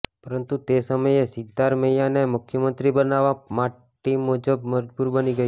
પરંતુ તે સમયે સિદ્ધારમૈયાને મુખ્યમંત્રી બનાવવા પાર્ટી મજબુર બની ગઈ